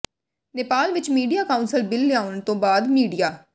ਨੇਪਾਲ ਵਿੱਚ media council bill ਲਿਆਉਣ ਤੋਂ ਬਾਅਦ ਮੀਡੀਆ